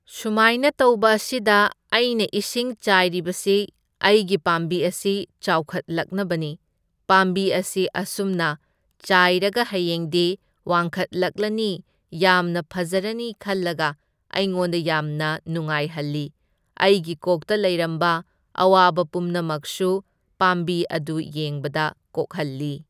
ꯁꯨꯃꯥꯏꯅ ꯇꯧꯕ ꯑꯁꯤꯗ ꯑꯩꯅ ꯏꯁꯤꯡ ꯆꯥꯏꯔꯤꯕꯁꯤ, ꯑꯩꯒꯤ ꯄꯥꯝꯕꯤ ꯑꯁꯤ ꯆꯥꯎꯈꯠꯂꯛꯅꯕꯅꯤ, ꯄꯥꯝꯕꯤ ꯑꯁꯤ ꯑꯁꯨꯝꯅ ꯆꯥꯏꯔꯒ ꯍꯌꯦꯡꯗꯤ ꯋꯥꯡꯈꯠꯂꯛꯂꯅꯤ ꯌꯥꯝꯅ ꯐꯖꯔꯅꯤ ꯈꯜꯂꯒ ꯑꯩꯉꯣꯟꯗ ꯌꯥꯝꯅ ꯅꯨꯡꯉꯥꯏꯍꯜꯂꯤ꯫ ꯑꯩꯒꯤ ꯀꯣꯛꯇ ꯂꯩꯔꯝꯕ ꯑꯋꯥꯕ ꯄꯨꯝꯅꯃꯛꯁꯨ ꯄꯥꯝꯕꯤ ꯑꯗꯨ ꯌꯦꯡꯕꯗ ꯀꯣꯛꯍꯜꯂꯤ꯫